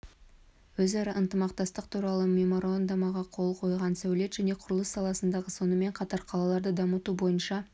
өзара ынтымақтастық туралы меморандумға қол қойған сәулет және құрылыс саласындағы сонымен қатар қалаларды дамыту бойынша